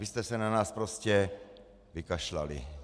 Vy jste se na nás prostě vykašlali.